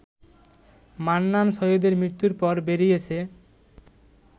মান্নান সৈয়দের মৃত্যুর পর বেরিয়েছে